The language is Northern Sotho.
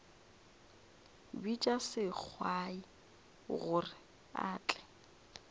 bitša sengwai gore a tle